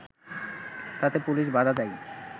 তাতে পুলিশ বাধা দেয়